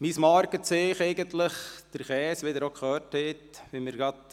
Mein Markenzeichen ist, wie Sie gehört haben, der Käse.